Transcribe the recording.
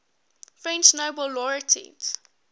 french nobel laureates